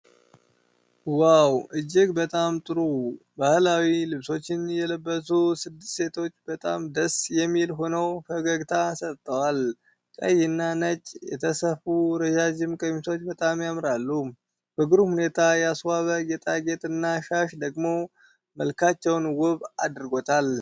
ዋው! እጅግ በጣም ጥሩ! ባህላዊ ልብሶችን የለበሱ ስድስት ሴቶች በጣም ደስ የሚል ሆነው ፈገግታ ሰጥተዋል። ቀይ እና ነጭ የተሰፉ ረዥም ቀሚሶች በጣም ያምራሉ። በግሩም ሁኔታ ያስዋበ ጌጣጌጥና ሻሽ ደግሞ መልካቸውን ውብ አድርጎታል።